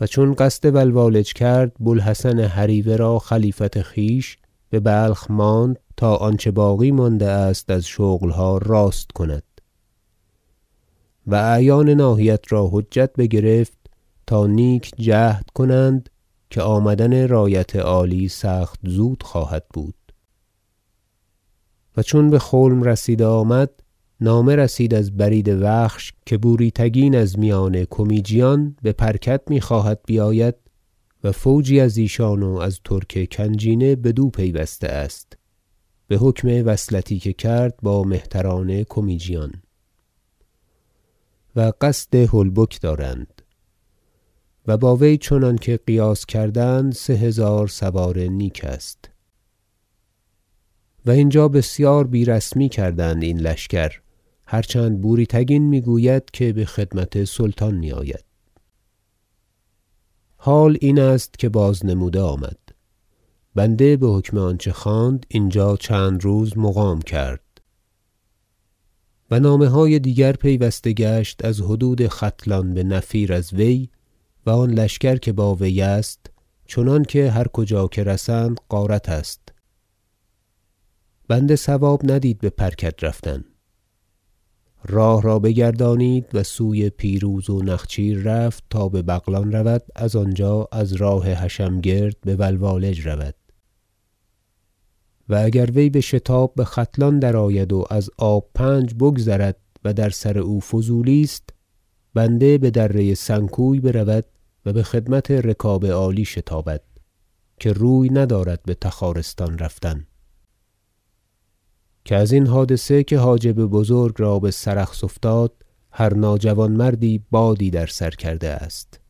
و چون قصد ولوالج کرد بو الحسن هریوه را خلیفت خویش ببلخ ماند تا آنچه باقی مانده است از شغلها راست کند و اعیان ناحیت را حجت بگرفت تا نیک جهد کنند که آمدن رایت عالی سخت زود خواهد بود و چون به خلم رسیده آمد نامه رسید از برید و خش که بوری تگین از میان کمیجیان به پرکد میخواهد بیاید و فوجی از ایشان و از ترک کنجینه بدو پیوسته است بحکم وصلتی که کرد با مهتران کمیجیان و قصد هلبک دارند و با وی چنانکه قیاس کردند سه هزار سوار نیک است و اینجا بسیار بیرسمی کردند این لشکر هر چند بوری تگین میگوید که بخدمت سلطان میآید حال این است که باز نموده آمد بنده بحکم آنچه خواند اینجا چند روز مقام کرد و نامه های دیگر پیوسته گشت از حدود ختلان بنفیر از وی و آن لشکر که با وی است چنانکه هر کجا رسند غارت است بنده صواب ندید به پر کد رفتن راه را بگردانید و سوی پیروز و نخچیر رفت تا ببغلان رود از آنجا از راه حشم گرد بولوالج رود و اگر وی بشتاب بختلان درآید و از آب پنج بگذرد و در سر او فضولی است بنده بدره سنکوی برود و بخدمت رکاب عالی شتابد که روی ندارد بتخارستان رفتن که ازین حادثه که حاجب بزرگ را بسرخس افتاد هر ناجوانمردی بادی در سر کرده است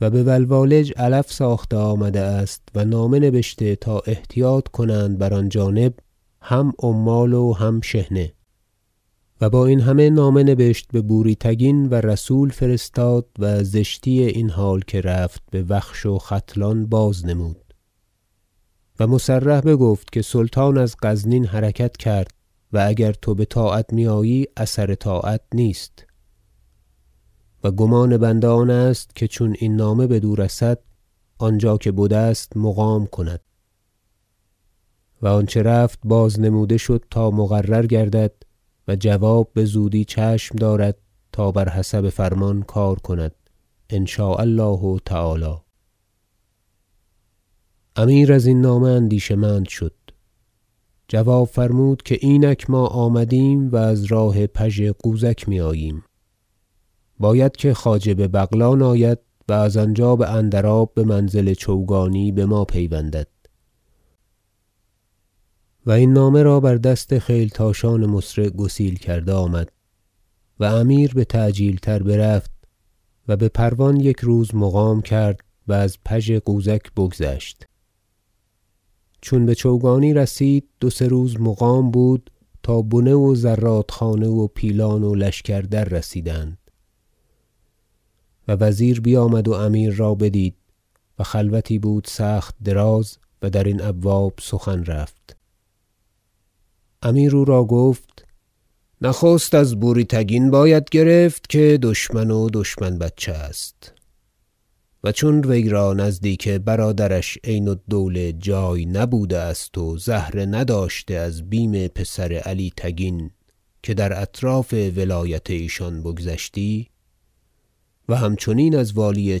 و به ولوالج علف ساخته آمده است و نامه نبشته تا احتیاط کنند بر آن جانب هم عمال و هم شحنه و با این همه نامه نبشت به بوری تگین و رسول فرستاد و زشتی این حال که رفت بوخش و ختلان باز نمود و مصرح بگفت که سلطان از غزنین حرکت کرد و اگر تو بطاعت میآیی اثر طاعت نیست و گمان بنده آن است که چون این نامه بدو رسد آنجا که بدست مقام کند و آنچه رفت باز نموده شد تا مقرر گردد و جواب بزودی چشم دارد تا بر حسب فرمان کار کند ان شاء الله تعالی امیر ازین نامه اندیشه مند شد جواب فرمود که اینک ما آمدیم و از راه پژ غوزک میآییم باید که خواجه ببغلان آید و از آنجا باندراب بمنزل چوگانی بما پیوندد و این نامه را بر دست خیلتاشان مسرع گسیل کرده آمد و امیر بتعجیل تر برفت و بپروان یک روز مقام کرد و از پژ غوزک بگذشت چون بچوگانی رسید دو سه روز مقام بود تا بنه و زرادخانه و پیلان و لشکر در رسیدند و وزیر بیامد و امیر را بدید و خلوتی بود سخت دراز و در این ابواب سخن رفت امیر او را گفت نخست از بوری- تگین باید گرفت که دشمن و دشمن بچه است و چون وی را نزدیک برادرش عین- الدوله جای نبوده است و زهره نداشته از بیم پسر علی تگین که در اطراف ولایت ایشان بگذشتی و همچنین از والی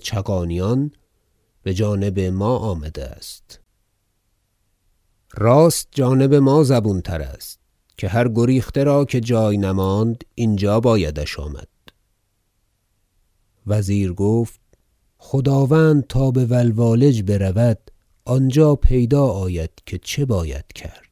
چغانیان که بجانب ما آمده است راست جانب ما زبون تر است که هر گریخته را که جای نماند اینجا بایدش آمد وزیر گفت خداوند تا بولوالج برود آنجا پیدا آید که چه باید کرد